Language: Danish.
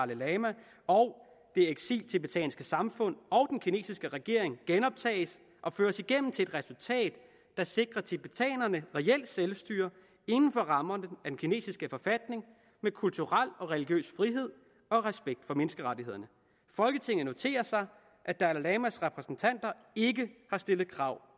lama og det eksil tibetanske samfund og kinesiske regering genoptages og føres igennem til et resultat der sikrer tibetanerne reelt selvstyre inden for rammerne af den kinesiske forfatning med kulturel og religiøs frihed og respekt for menneskerettighederne folketinget noterer sig at dalai lamas repræsentanter ikke har stillet krav